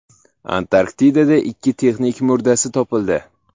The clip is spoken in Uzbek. Antarktidada ikki texnik murdasi topildi.